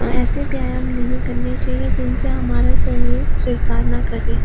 और ऐसे व्यायाम नहीं करने चाहिए जिनसे हमारा शरीर स्वीकार ना करें।